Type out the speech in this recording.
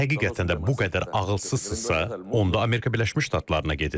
Əgər həqiqətən də bu qədər ağılsızsızsa, onda Amerika Birləşmiş Ştatlarına gedin.